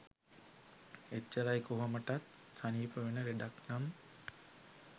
එච්චරයි කොහොමටත් සනීප වෙන ලෙඩක් නම්